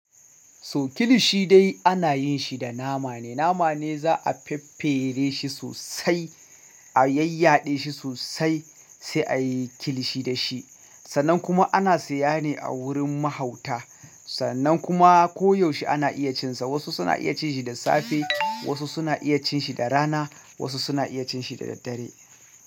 So kilishi dai ana yin shi da nama ne. Nama ne za a faffere shi sosai, a yayyaɗe shi sosai sai a yi kilishi da shi. Sannan kuma ana siyane a wurin mahauta. Sannan kuma koyaushe ana iya cin sa. Wasu suna iya cin shi da safe, wasu suna iya cin shi da rana, wasu suna iya cin shi da daddare.